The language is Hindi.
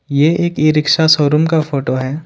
ये एक ई रिक्शा शोरूम का फोटो है।